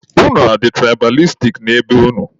Unu adị tụraịbalistik na be unu?